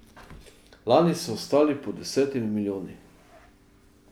Lani so ostali pod desetimi milijoni.